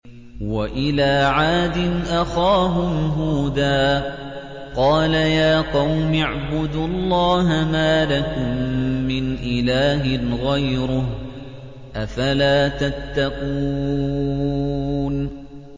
۞ وَإِلَىٰ عَادٍ أَخَاهُمْ هُودًا ۗ قَالَ يَا قَوْمِ اعْبُدُوا اللَّهَ مَا لَكُم مِّنْ إِلَٰهٍ غَيْرُهُ ۚ أَفَلَا تَتَّقُونَ